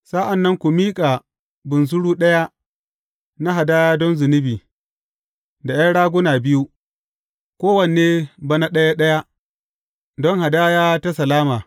Sa’an nan ku miƙa bunsuru ɗaya na hadaya don zunubi, da ’yan raguna biyu, kowanne bana ɗaya ɗaya, don hadaya ta salama.